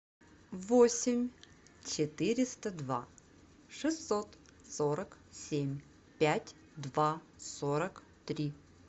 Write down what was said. восемь четыреста два шестьсот сорок семь пять два сорок три